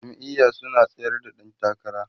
jam'iya su na tsayar da ƴan takara